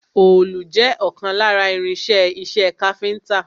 Òòlù jẹ́ ìkan lára irin-iṣẹ́ iṣẹ́ káfíńńtà.